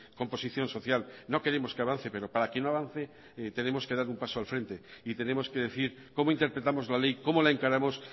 composición social no queremos que avance pero para que no avance tenemos que dar un paso al frente y tenemos que decir cómo interpretamos la ley cómo la encaramos